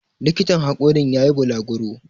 likitan hakorin ya yi balaguro